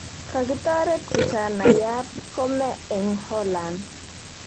Kakitoret kijanaiyat kome rng Holland